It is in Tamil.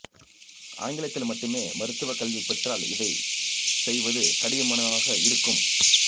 ஆங்கிலத்தில் மட்டுமே மருத்துவக் கல்வி பெற்றால் இதைச் செயவது கடினமானதாக இருக்கும்